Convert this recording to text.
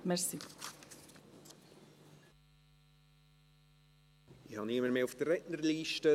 Ich habe niemanden mehr auf der Rednerliste.